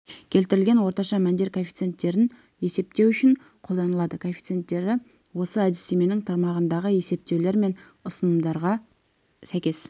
келтірілген орташа мәндер коэффициентін есептеу үшін қолданылады коэффициенттері осы әдістеменің тармағындағы есептеулер мен ұсынымдарға сәйкес